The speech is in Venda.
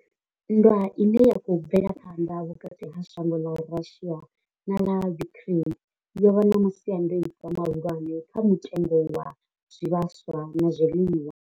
Nndwa ine ya khou bvela phanḓa vhukati ha shango ḽa Russia na ḽa Ukraine yo vha na masiandaitwa mahulwane kha mutengo wa zwivhaswa na zwiḽiwa.